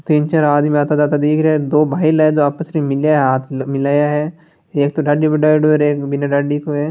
तीन चार आदमी आता जाता दीख रिया है दो भाईला है जो आपसरी मे मिल्या है हाथ मि-मिलाया है एक तो डाड़ी बढायाडो है और एक बीना डाड़ी को हैं।